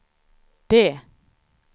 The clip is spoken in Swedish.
D